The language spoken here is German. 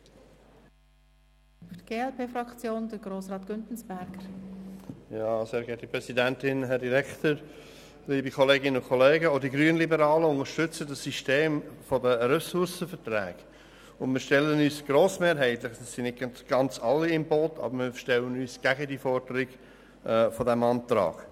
Auch die grünliberale Fraktion unterstützt das System der Ressourcenverträge und stellt sich grossmehrheitlich gegen die Forderung dieses Abänderungsantrags.